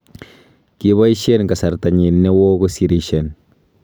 Kiboisien kesrtanyin newoo kosirisien.